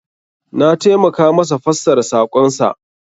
Na taimaka masa fassara sakon sa.